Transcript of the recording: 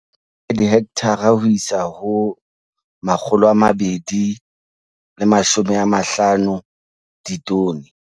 10 dihekthara ho isa ho 250 ditone